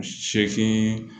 Seegin